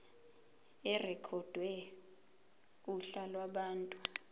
irekhodwe kuhla lwabantu